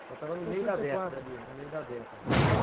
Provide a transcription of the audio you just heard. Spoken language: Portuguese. Já estava no meio da década ali, no meio da década.